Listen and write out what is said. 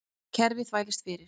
Kerfið þvælist fyrir